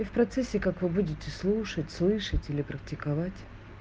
и в процессе как вы будете слушать слышать или практиковать